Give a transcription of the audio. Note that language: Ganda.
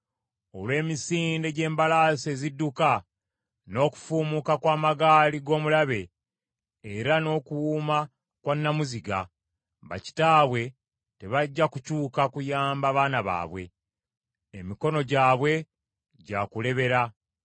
Olw’emisinde gy’embalaasi ezidduka n’okufuumuuka kw’amagaali g’omulabe era n’okuwuuma kwa nnamuziga, bakitaabwe tebajja kukyuka kuyamba baana baabwe, emikono gyabwe gya kulebera.